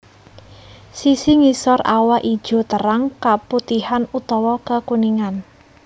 Sisi ngisor awak ijo terang keputihan utawa kekuningan